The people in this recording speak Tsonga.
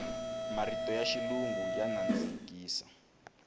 marito ya xilungu ya nandzikisa